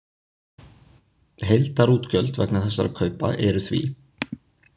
Heildarútgjöld vegna þessara kaupa eru því: